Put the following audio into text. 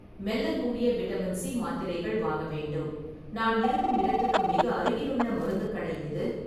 மெல்லக்கூடிய vitamin C மாத்திரைகள் வாங்க வேண்டும், நான் இருக்கும் இடத்துக்கு மிக அருகிலுள்ள மருந்துக் கடை எது?